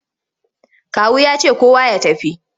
Kawu ya ce kowa ya tafi!